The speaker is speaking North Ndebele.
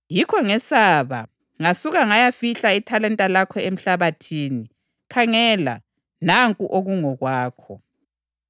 Yikho ngesaba ngasuka ngayafihla ithalenta lakho emhlabathini. Khangela, nanku okungokwakho.’